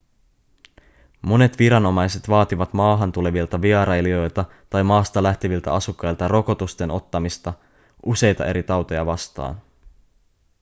monet viranomaiset vaativat maahan tulevilta vierailijoilta tai maasta lähteviltä asukkailta rokotusten ottamista useita eri tauteja vastaan